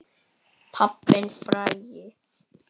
Pabbinn frægi.